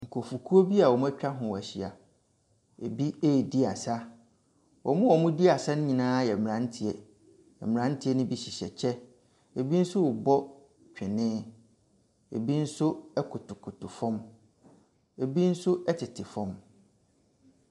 Nkurɔfokuo bi a wɔn atwa ho ahyia. Ebi redi asa. Wɔn a wɔredi asa no nyinaa yɛ mmranteɛ. Mmranteɛ no bi hye hyɛ kyɛ, ebi nso rebɔ twene, ebi nso kotokoto fam, ebi nso tete fam.